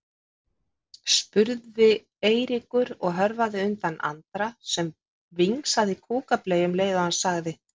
spurði Eiríkur og hörfaði undan Andra sem vingsaði kúkableyju um leið og hann sagði